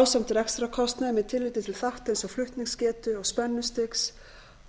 ásamt rekstrarkostnaði með tilliti til þátta eins og flutningsgetu og